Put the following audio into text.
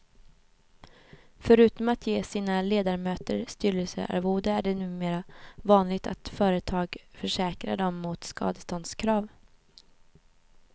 Förutom at ge sina ledamöter styrelsearvode är det numera vanligt att företaget försäkrar dem mot skadeståndskrav.